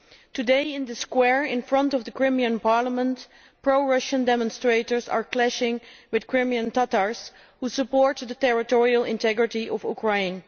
Today in the square in front of the Crimean Parliament, pro Russian demonstrators are clashing with Crimean Tatars who support the territorial integrity of Ukraine.